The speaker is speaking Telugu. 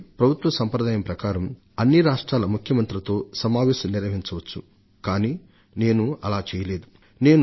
ఇదివరకటి ప్రభుత్వం పాటించిన సంప్రదాయం ప్రకారమైతే నేను అనావృష్టికి లోనైన రాష్ట్రాలన్నిటి ముఖ్యమంత్రులతోను ఒక ఉమ్మడి సమావేశాన్ని నిర్వహించవచ్చు కానీ నేను అలా చేయకూడదనుకున్నాను